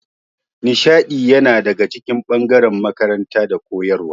Nishaɗi yana daga cikin ɓangaren makaranta da koyarwa